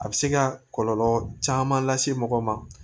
A bɛ se ka kɔlɔlɔ caman lase mɔgɔ ma